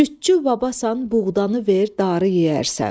Cütçü babasan buğdanı ver darı yeyərsən.